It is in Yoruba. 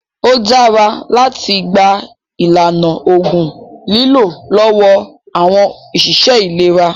Ó dára láti gba ìlànà ògùn lílò lọ́wọ́ àwọn ọ̀ṣìṣẹ́ ìlera